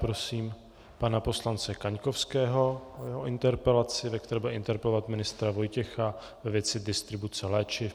Prosím pana poslance Kaňkovského o interpelaci, ve které bude interpelovat ministra Vojtěcha ve věci distribuce léčiv.